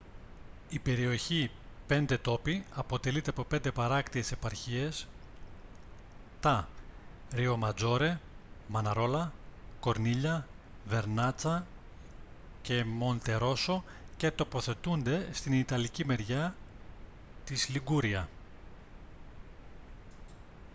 η περιοχή πέντε τόποι αποτελείται από 5 παράκτιες επαρχίες τα ριοματζόρε μαναρόλα κορνίλια βερνάτσα και μοντερόσο και τοποθετούνται στην ιταλική μεριά της liguria